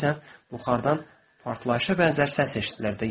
Bəzən yuxarıdan partlayışa bənzər səs eşidilirdi.